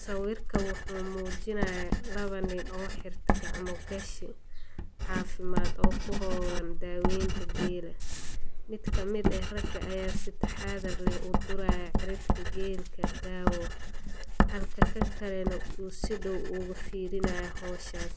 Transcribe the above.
Sawiirka wuxuu mujinaaya laba nin oo xirtay gacmo gashi, cafimaad oo kuhoolan daweenta geela, mid kamid ah ayaa si taxadar leh uduraaya xididka geela daawo, halka kan kalena uu si dow ufiirinaayo howshaas,